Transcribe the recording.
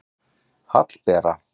Hallbera